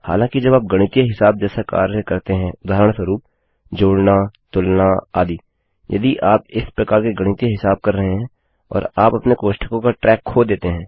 हालाँकि जब आप गणितीय हिसाब जैसा कार्य करते हैं उदाहरणस्वरुप जोड़ना तुलना आदि यदि आप इस प्रकार के गणितीय हिसाब कर रहे हैं और आप अपने कोष्ठकों का ट्रैक खो देते हैं